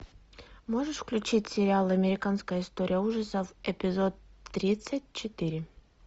можешь включить сериал американская история ужасов эпизод тридцать четыре